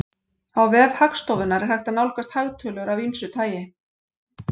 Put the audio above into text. Á vef Hagstofunnar er hægt að nálgast hagtölur af ýmsu tagi.